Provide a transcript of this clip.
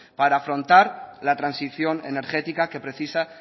para afrontar la transición energética que precisa